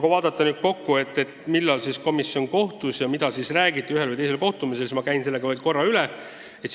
Kui nüüd tahta kokku võtta, et millal komisjon kohtus ja mida räägiti ühel või teisel kohtumisel, siis ma käin selle ka veel korra üle.